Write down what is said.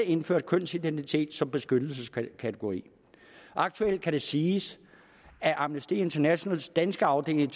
indført kønsidentitet som beskyttelseskategori aktuelt kan det siges at amnesty internationals danske afdeling